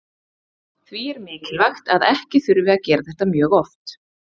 Því er mikilvægt að ekki þurfi að gera þetta mjög oft.